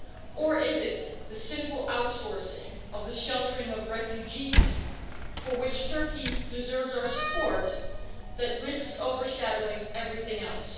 Or is it the cynical outsourcing of the sheltering of refugees for which Turkey deserves our support that risks overshadowing everything else?